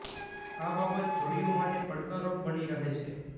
આ બાબત જોડીઓ માટે પડકાર રૂપ બની રહે છે